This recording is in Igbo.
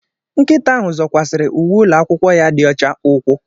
Nkịta ahụ zọkwasịrị uwe ụlọ akwụkwọ ya dị ọcha ùkwù